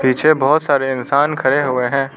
पीछे बहोत सारे इंसान खड़े हुए हैं।